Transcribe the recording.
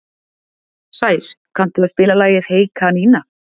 Sær, kanntu að spila lagið „Hey kanína“?